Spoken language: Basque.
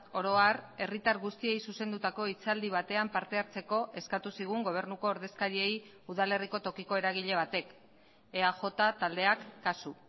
oro har herritar guztiei zuzendutako hitzaldi batean parte hartzeko eskatu zigun gobernuko ordezkariei udalerriko tokiko eragile batek eaj taldeak kasu